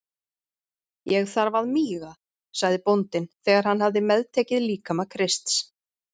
Ég þarf að míga, sagði bóndinn þegar hann hafði meðtekið líkama Krists.